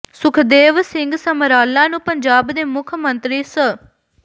ਸੁਖਦੇਵ ਸਿੰਘ ਸਮਰਾਲਾ ਨੂੰ ਪੰਜਾਬ ਦੇ ਮੁੱਖ ਮੰਤਰੀ ਸ